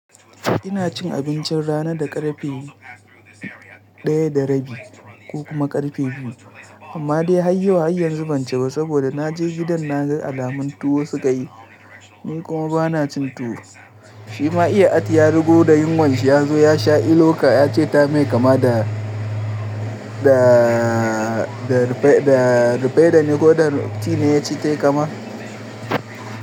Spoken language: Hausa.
Ina cin abincin rana da karfe daya da rabi ko kuma karfe biyu amma dai har yau har yan zuben cewa saboda na je gidan na ga alamun tuwo suka yi. Ni kuma ba na cin tuwo. Shi ma iya ati ya rugo da yunwan shi ya zo ya sha iloka ya ce ta mai kama da, rufe, da rufaida ne ko da tea ne ya ce tayi kama.